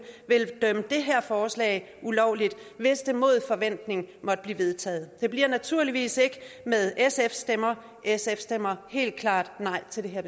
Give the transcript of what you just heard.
vil dømme det her forslag ulovligt hvis det mod forventning måtte blive vedtaget det bliver naturligvis ikke med sfs stemmer sf stemmer helt klart nej til det her